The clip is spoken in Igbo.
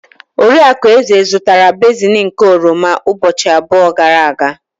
Oriakụ Eze zụtara basin nke oroma ụbọchị abụọ gara aga.